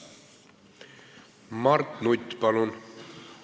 Mart Nutt, palun!